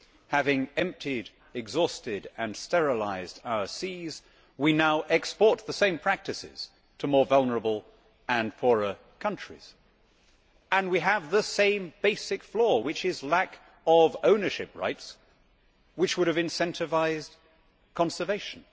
having emptied, exhausted and sterilised our seas we now export the same practices to more vulnerable and poorer countries and we have the same basic flaw, which is lack of ownership rights which would have incentivised conservation.